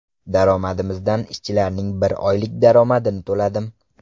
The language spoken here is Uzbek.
Daromadimizdan ishchilarning bir oylik daromadini to‘ladim.